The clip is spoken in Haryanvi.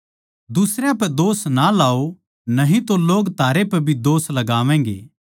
दुसरयां पै इल्जाम ना लाओ न्ही तो लोग थारै पै भी इल्जाम लगावैंगे